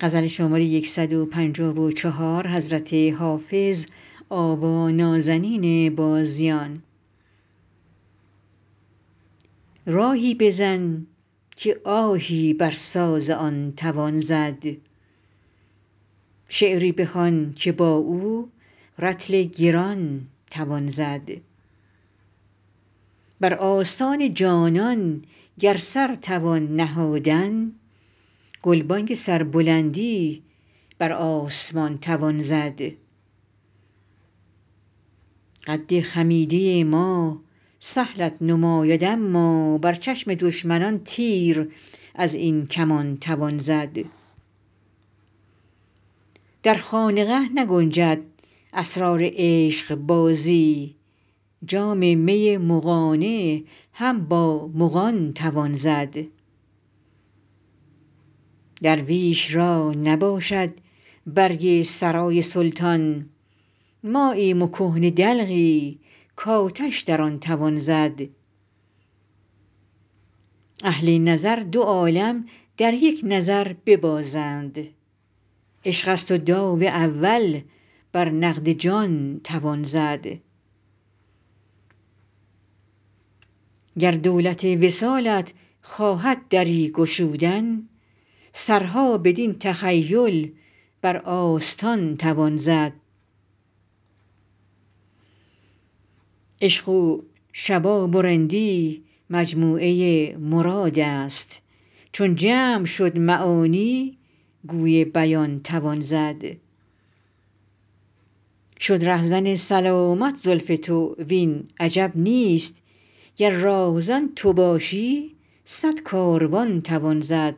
راهی بزن که آهی بر ساز آن توان زد شعری بخوان که با او رطل گران توان زد بر آستان جانان گر سر توان نهادن گلبانگ سربلندی بر آسمان توان زد قد خمیده ما سهلت نماید اما بر چشم دشمنان تیر از این کمان توان زد در خانقه نگنجد اسرار عشقبازی جام می مغانه هم با مغان توان زد درویش را نباشد برگ سرای سلطان ماییم و کهنه دلقی کآتش در آن توان زد اهل نظر دو عالم در یک نظر ببازند عشق است و داو اول بر نقد جان توان زد گر دولت وصالت خواهد دری گشودن سرها بدین تخیل بر آستان توان زد عشق و شباب و رندی مجموعه مراد است چون جمع شد معانی گوی بیان توان زد شد رهزن سلامت زلف تو وین عجب نیست گر راهزن تو باشی صد کاروان توان زد